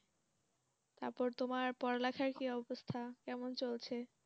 তারপর তুমারে পড়ালিখার কি অবস্থা কেমন চলছে